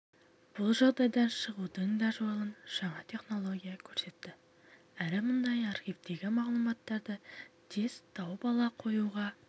бұл жағдайдан шығудың да жолын жаңа технология көрсетті әрі мұндай архивтегі мағлұматтарды тез тауып ала қоюға